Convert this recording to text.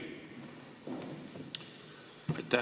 Aitäh!